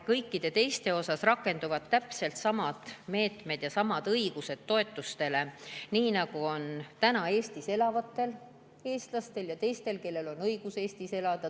Kõikide teiste suhtes rakenduvad täpselt samad meetmed ja sama õigus toetustele, nii nagu on Eestis elavatel eestlastel ja teistel, kellel on õigus Eestis elada.